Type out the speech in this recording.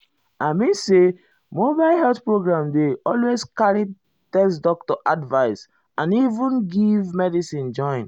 i mean say mobile health program dey ah always carry test doctor advice and even give medicine join.